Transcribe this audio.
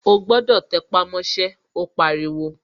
O gbọ́dọ̀ tẹpámọ́ṣẹ́, ó pariwo